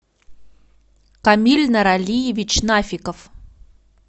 камиль норалиевич нафиков